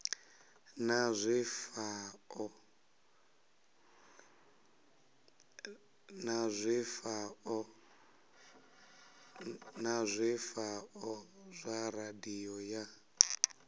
na zwifhao zwa radio ya